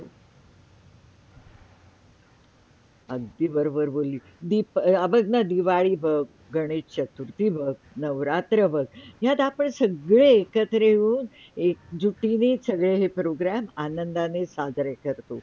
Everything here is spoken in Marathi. अगदी बरोबर बोलीस बग न दिवाळी बघ, गणेश -चतुर्थी बघ, नवरात्र बघ यात आपण सगळे एकत्र येऊन, एकजुटीने सगळे हे Programm आनंदाने साजरे करतो.